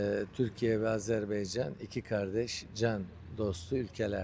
Türkiyə və Azərbaycan iki qardaş can dostu ölkələrdir.